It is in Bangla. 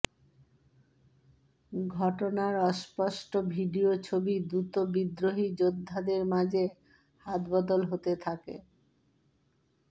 ঘটনার অস্পষ্ট ভিডিও ছবি দ্রুত বিদ্রোহী যোদ্ধাদের মাঝে হাত বদল হতে থাকে৻